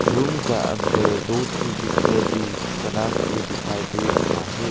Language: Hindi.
रूम का अंदर दो तू बिस्तर भी बनाके दिखाई दे रहा है।